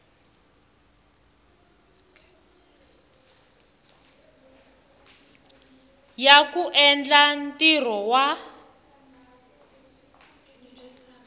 ya ku endla ntirho wa